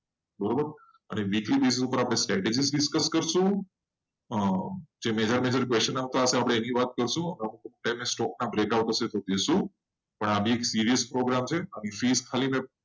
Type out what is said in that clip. મને બીજી રીતે આ profit મોટા question હશે. એની વાત કરશું અને આ બહુ serious program છે